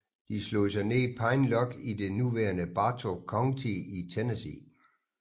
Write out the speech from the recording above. De slog sig ned i Pine Log i det nuværende Bartow County i Tennessee